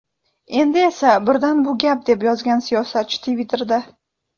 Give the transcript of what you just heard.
Endi esa birdan bu gap”, deb yozgan siyosatchi Twitter’da.